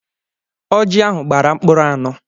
Ọjị ahụ gbara mkpụrụ anọ.